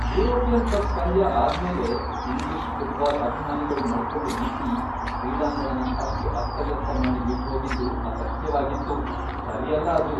European cup ಪಂದ್ಯ ಆದ್ಮೇಲೆ English football ಅಭಿಮಾನಿಗಳು ನಡ್ಕೊಂಡ್ ರೀತಿ, ಕ್ರೀಡಾಂಗಣನ ಅಷ್ಟ್ ಅಸ್ತವ್ಯಸ್ತ ಮಾಡಿ ಬಿಟ್ಹೋಗಿದ್ದು ಅಸಹ್ಯ್ವಾಗಿತ್ತು, ಸರಿಯಲ್ಲ ಅದು.